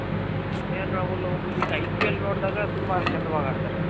KLರಾಹುಲ್ ಅವ್ರು ಈಗ IPL ನೋಡ್ದಾಗ ತುಂಬಾ ಚೆಂದವಾಗಿ ಆಡ್ತಾರೆ ಅವ್ರು